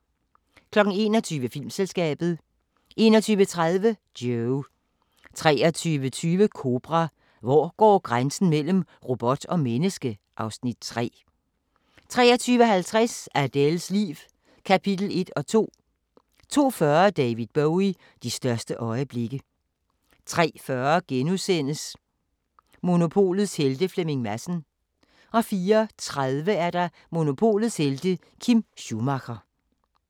21:00: Filmselskabet 21:30: Joe 23:20: Kobra – Hvor går grænsen mellem robot og menneske? (Afs. 3) 23:50: Adèles liv – kapitel 1 og 2 02:40: David Bowie: De største øjeblikke 03:40: Monopolets Helte – Flemming Madsen * 04:30: Monopolets Helte – Kim Schumacher